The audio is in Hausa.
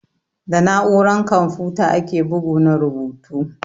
Da na'uran kamfuta ake bugu na rubutu.